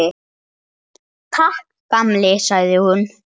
Takk, gamli, sagði hún.